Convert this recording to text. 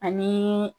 Ani